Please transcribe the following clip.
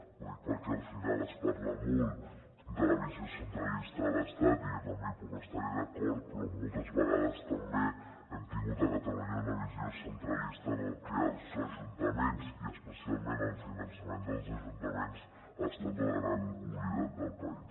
ho dic perquè al final es parla molt de la visió centralista de l’estat i jo també hi puc estar d’acord però moltes vegades també hem tingut a catalunya una visió centralista en la que els ajuntaments i especialment el finançament dels ajuntaments han estat els grans oblidats del país